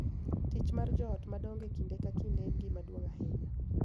Tich mar jo ot madongo kinde ka kinde ok en gima duong� ahinya,